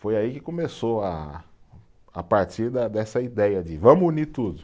Foi aí que começou a a partir da, dessa ideia de vamos unir tudo.